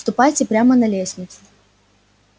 ступайте прямо на лестницу